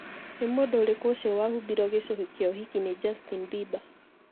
Nĩ mũndũ ũrĩkũ ũcio wahumbirwo gĩcũhĩ kĩa ũhiki nĩ Justin Bieber?